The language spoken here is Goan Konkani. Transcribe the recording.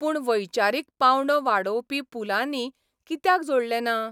पूण वैचारीक पावंडो वाडोवपी पुलांनी कित्याक जोडलो ना?